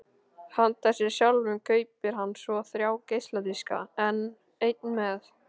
Handa sér sjálfum kaupir hann svo þrjá geisladiska: einn með